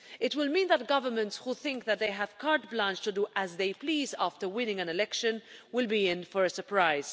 It will mean that governments who think that they have carte blanche to do as they please after winning an election will be in for a surprise.